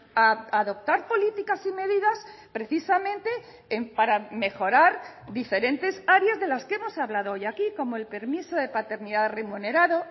a adoptar políticas y medidas precisamente en para mejorar diferentes áreas de las que hemos hablado hoy aquí como el permiso de paternidad remunerado